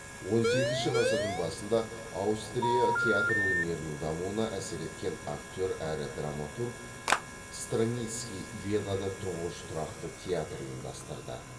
он сегізінші ғасырдың басында аустрия театр өнерінің дамуына әсер еткен актер әрі драматург страницкий венада тұңғыш тұрақты театр ұйымдастырды